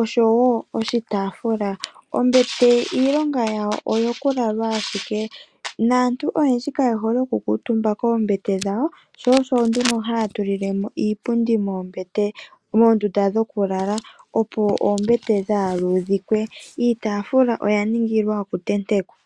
osho wo oshitafula. Ombete iilonga yawo oyo kulalwa ashike naantu oyendji kaye hole okukutumba koombete dhawo sho shonduno hatulilemo iipundi moondunda dhokulala opo oombete dhaaludhikwe , iitafula oya ningilwa okutenekwa.